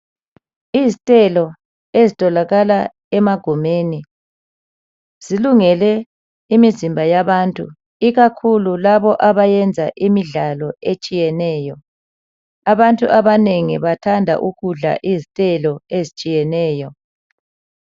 Izithelo ezitholakala emagumeni zilungele imizimba yabantu ikakhulu laba abayenza imidlalo etshiyeneyo abantu abanengi bathanda ukudla izithelo ezitshiyeneyo.